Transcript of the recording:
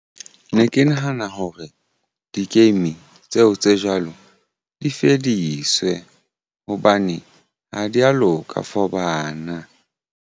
Ne ke nahana hore di-game tseo tse jwalo di fediswe hobane ha di ya loka for bana.